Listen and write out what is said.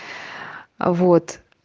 а вот